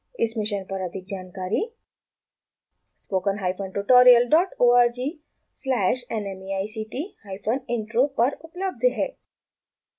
इस mission पर अधिक जानकारी spoken hyphen tutorial dot org slash nmeict hyphen intro पर उपलब्ध है